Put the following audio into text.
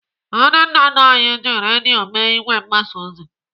Ndị nna nna anyị ji redio mee ìgwè mgbasa ozi.